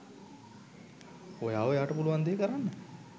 ඔයා ඔයාට පුළුවන් දේ කරන්න